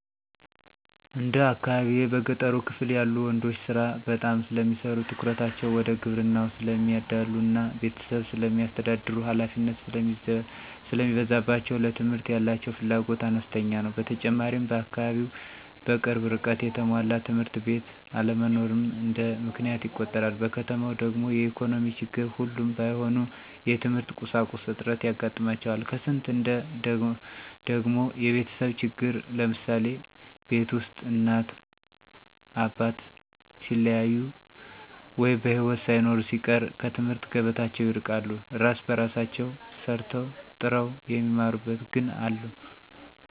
እንደ አካባቢየ በገጠሩ ክፍል ያሉ ወንዶች ስራ በጣም ስለሚሰሩ ትኩረታቸው ወደ ግብርናው ስለሚያዳሉ እና ቤተሰብ ስለሚያስተዳድሩ ሀላፊነት ስለሚበዛባቸው ለትምህርት ያላቸው ፍላጎት አነስተኛ ነው። በተጨማሪም በአካባቢው በቅርብ ርቀት የተሟላ ትምህርት ቤት አለመኖርም እንደ ምክንያት ይቆጠራል። በከተማው ደግሞ የኢኮኖሚ ችግር ሁሉም ባይሆኑ የትምህርት ቁሳቁስ እጥረት ያጋጥማቸዋል ከስንት አንዴ ደግሞ የቤተሰብ ችግር ለምሳሌ፦ ቤት ውስጥ እናት አባት ሲለያዩ ወይ በሒወት ሳይኖሩ ሲቀር ከትምህርት ገበታቸው ይርቃሉ። እራስ በራሳቸው ሰርተው ጥረው የሚማሩም ግን አሉ።